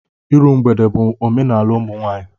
Iru mgbede bụ omenala ụmụnwaanyị